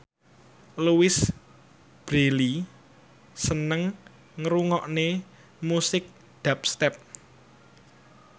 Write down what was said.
Louise Brealey seneng ngrungokne musik dubstep